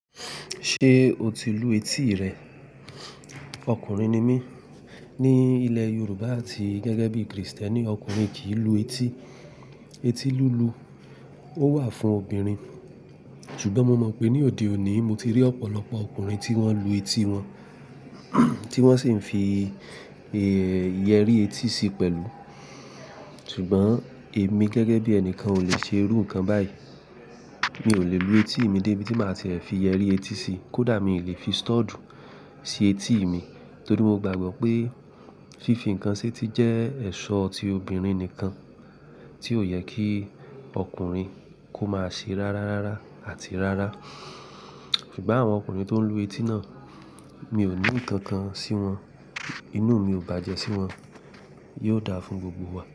Ṣé o ti lu etí rẹ? Ọkùnrin ni mí. Ni ilẹ̀ Yorùbá àti gẹ́gẹ́ bí Kristẹni, ọkùnrin kì í lu etí. Eti lulu ó wà fún obìnrin. Ṣugbọn mo mọ pe ni odẹ òní mo ti ri ọpọlọpọ ọkùnrin ti wọn lu etí wọn ti wọn sì n fi iyeri etí sí pẹlú. Ṣùgbọ́n èmi gẹ́gẹ́ bí ẹnìkan ò lè ṣe irú nǹkan báyìí. Mi ò lè lu etí mi débi tí màá ṣe ẹ fi yẹrí etí si. Kódà mi ò lè fi stud si etí mi torí mo gbàgbọ́ pé fífi nǹkan sí etí jẹ́ ẹ̀ṣọ́ ti obìnrin nìkan tí ò yẹ kí ọkùnrin kó máa ṣe rárárára àti rárá. Ṣùgbọ́n àwọn ọkùnrin tó ń lu etí náà, mi ò ní ìkànkan sí wọn. Inú mi ò bàjẹ́ sí wọn. Yóò dáa fún gbogbo wa.